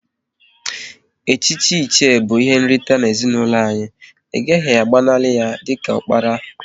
Echichi Iche bụ ihe nrite n'ezinụlọ anyị, ị gaghị agbanali ya dịka diokpara!